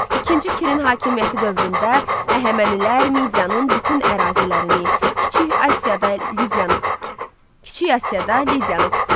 İkinci Kirin hakimiyyəti dövründə Əhəmənilər Midianın bütün ərazilərini, Kiçik Asiyada Lidiyanı tutdular.